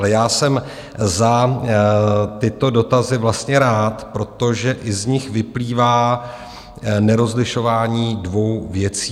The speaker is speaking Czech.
Ale já jsem za tyto dotazy vlastně rád, protože i z nich vyplývá nerozlišování dvou věcí.